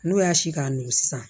N'o y'a si k'a nugu sisan